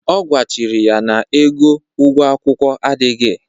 Ọ gwachiri ya na ego ụgwo akwụkwụ adịghị.